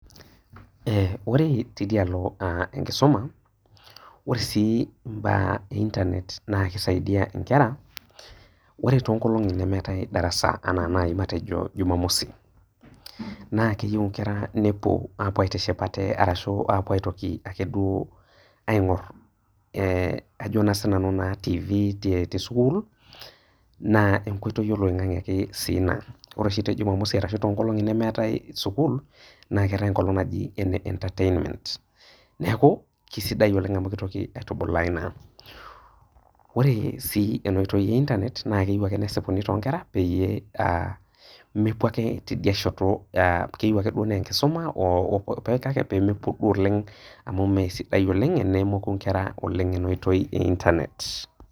ore teidia alo enkisuma ore sii imbaa ee internet naa keisaidia inkera ore too nkolong'i nemeetae darasa ena nayi matejo jumamosii naa keyieu inkera nepuo apuo aitiship ate arashu apuo aitoki ake duo aing'or ajo naa sinanu naa tifii tee sukul naa enkoitoi oloing'ang'e ake sii ina ore oshi teejumamosi ashuu tonkolong'i nemeetae sukul naa keetae enkolong' naji ene entertainments neeku keisidai olrng' amu keitoki aitubulaa ina ore sii ena oitoi ee internet naa keyiu ake neisipuni toonkera peyiee mepuo ake teidia sheto keyiu ake naa enkisuma oo peemepuku oleng' amu mee sidai oleng' tenemoku inkera oleng' ena oitoi ee internet.